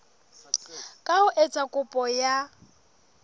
ka ho etsa kopo ya